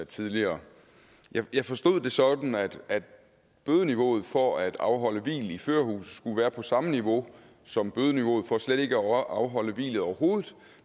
tidligere jeg forstod det sådan at bødeniveauet for at afholde hvil i førerhuset skulle være på samme niveau som bødeniveauet for slet ikke at afholde hvilet overhovedet